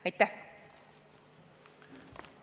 Aitäh!